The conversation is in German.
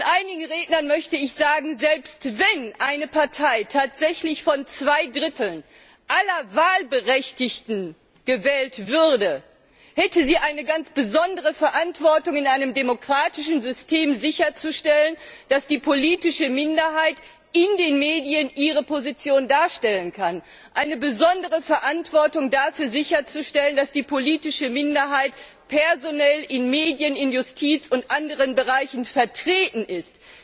Einigen Rednern möchte ich sagen Selbst wenn eine Partei tatsächlich von zwei Dritteln aller Wahlberechtigten gewählt würde, hätte sie eine ganz besondere Verantwortung, in einem demokratischen System sicherzustellen, dass die politische Minderheit in den Medien ihre Position darstellen kann, eine besondere Verantwortung dafür, sicherzustellen, dass die politische Minderheit personell in Medien, in Justiz und anderen Bereichen vertreten ist.